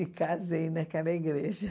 E casei naquela igreja.